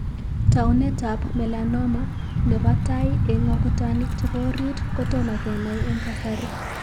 Taunetab melanoma nebo tai eng' akutanik chebo orit ko tomo kenai eng' kasari.